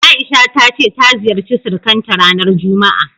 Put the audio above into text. A'isha ta ce ta ziyarci surukanta ranar juma'a.